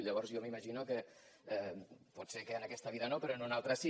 llavors jo m’imagino potser que en aquesta vida no però en una altra sí